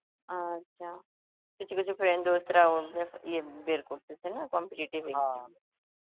আচ্ছা, কিছু কিছু friend রাও ইয়ে বের করতেছে না competitive exam .